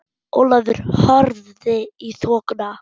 Ólafur horfði í þokuna.